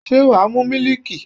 Ṣé wàá mu mílíìkì?